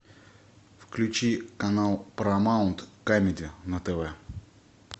включи канал парамаунт камеди на тв